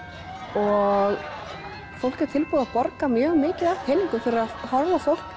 og fólk er tilbúið að borga mjög mikið af peningum fyrir að horfa á fólk